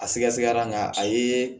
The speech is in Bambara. A sɛgɛsɛgɛra nga a ye